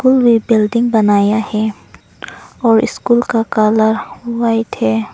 में बिल्डिंग बनाया है और स्कूल का कलर व्हाइट है।